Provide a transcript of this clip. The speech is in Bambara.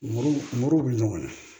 Muru muru bɛ ɲɔgɔn na